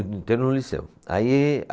Inteiro no liceu. Aí